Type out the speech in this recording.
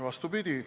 Vastupidi.